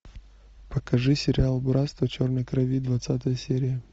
покажи сериал братство черной крови двадцатая серия